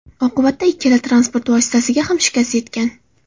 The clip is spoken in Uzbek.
Oqibatida ikkala transport vositasiga ham shikast yetgan.